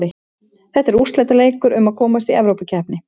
Þetta er úrslitaleikur um að komast Evrópukeppni.